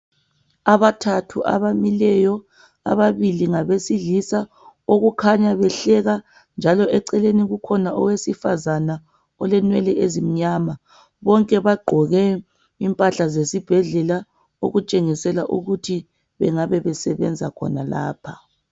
Abathathu abamileyo ababili ngabesilisa okukhanya behleka njalo eceleni kukhona owesifazana olenwele ezimnyama bonke bagqoke impahla zesibhedlela okutshengisela ukuthi bengabe besebenza khonalapha.